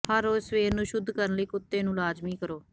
ਹਰ ਰੋਜ਼ ਸਵੇਰ ਨੂੰ ਸ਼ੁੱਧ ਕਰਨ ਲਈ ਕੁੱਤੇ ਨੂੰ ਲਾਜ਼ਮੀ ਕਰੋ